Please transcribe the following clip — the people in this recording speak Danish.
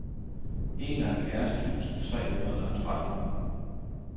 enoghalvfjerds tusind tre hundrede og tretten